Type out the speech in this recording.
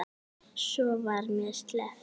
Svo var mér sleppt.